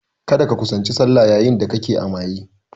Kada ka kusanci sallah yayin da kake a maybe!